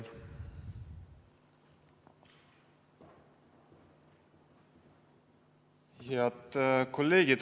Head kolleegid!